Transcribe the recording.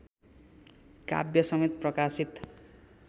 काव्यसमेत प्रकाशित